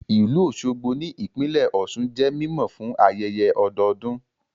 Ìlú Òṣogbo ní ìpínlẹ̀ Ọ̀sun jẹ́ mímọ̀ fún ayẹyẹ ọdọdún